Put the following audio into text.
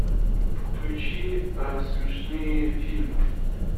включи смешные фильмы